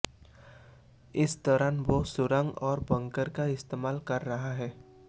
इस दौरान वो सुरंग और बनकर का इस्तेमाल कर रहा है